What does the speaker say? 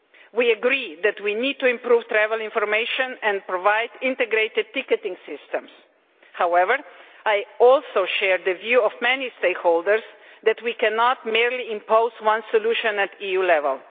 We agree that we need to improve travel information and provide integrated ticketing systems. However, I also share the view of many stakeholders that we cannot merely impose one solution at EU level